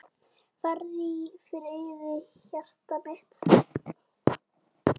Farðu í friði hjartað mitt.